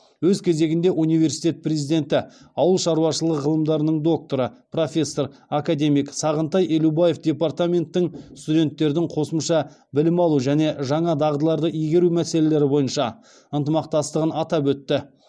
өз кезегінде университет президенті ауыл шаруашылығы ғылымдарының докторы профессор академик сағынтай елубаев департаменттің студенттердің қосымша білім алуы және жаңа дағдыларды игеруі мәселелері бойынша ынтымақтастығын атап өтті